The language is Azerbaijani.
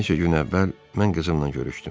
Bir neçə gün əvvəl mən qızımla görüşdüm.